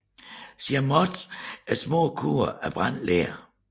Chamotte er små korn af brændt ler